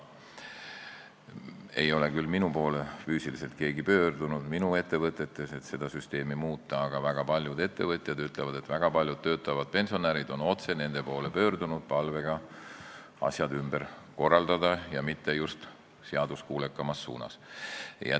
Minu poole ei ole minu ettevõtetes küll keegi pöördunud, et seda süsteemi muuta, aga väga paljud ettevõtjad ütlevad, et väga paljud töötavad pensionärid on otse nende poole pöördunud palvega asjad ümber korraldada ja mitte just seaduskuulekamas suunas.